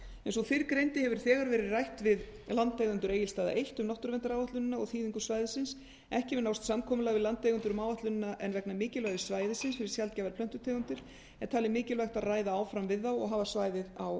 eins og fyrr greindi hefur verið rætt við landeigendur egilsstaða eitt um náttúruverndaráætlunin og þýðingu svæðisins ekki hefur náðst samkomulag við landeigendur um áætlunina en vegna mikilvægis svæðisins fyrir sjaldgæfar plöntutegundir er talið mikilvægt að ræða áfram við þá og hafa svæðið á